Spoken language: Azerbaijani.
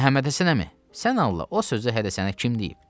Məhəmmədhəsən əmi, sən Allah, o sözü hələ sənə kim deyib?